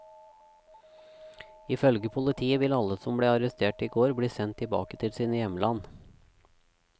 Ifølge politiet vil alle som ble arrestert i går bli sendt tilbake til sine hjemland.